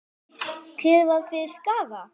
Hver varð fyrir skaða?